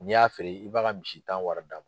N'i y'a feere, i b'a ka misi tan wari d'a m